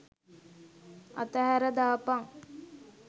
අතහැර දාපන්.